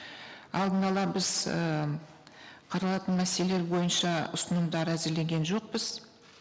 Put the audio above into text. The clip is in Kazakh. алдын ала біз ііі қаралатын мәселелер бойынша ұсынымдар әзірлеген жоқпыз